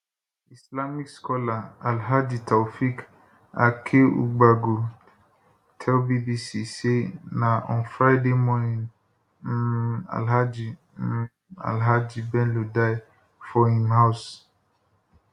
islamic scholar alhaji taofeeq akeugbagold tell bbc say na on friday morning um alhaji um alhaji bello die for im house